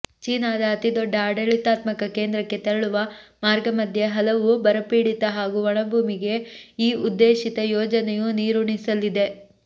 ಚೀನಾದ ಅತಿದೊಡ್ಡ ಆಡಳಿತಾತ್ಮಕ ಕೇಂದ್ರಕ್ಕೆ ತೆರಳುವ ಮಾರ್ಗಮಧ್ಯೆ ಹಲವು ಬರಪೀಡಿತ ಹಾಗೂ ಒಣಭೂಮಿಗೆ ಈ ಉದ್ದೇಶಿತ ಯೋಜನೆಯು ನೀರುಣಿಸಲಿದೆ